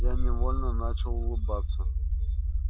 я невольно начал улыбаться